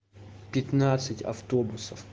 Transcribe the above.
пятнадцть автобусов